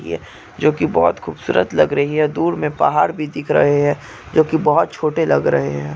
यह जो बहुत खूबसूरत लग रही है। दूर में पहाड़ भी दिख रहे है। जो के बहुत छोटे लग रहे है।